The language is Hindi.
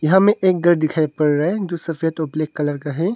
यहा मे एक गर दिखाइ पड़ रहा है जो सफेद और ब्लैक कलर का है।